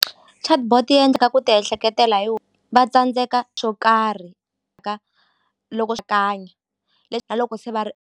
Chatbot yi endlaka ku ti ehleketela hi va tsandzeka swo karhi loko swa ku hanya na loko se va ri.